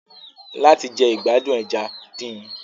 Láti jẹ ìgbádùn ẹja, din.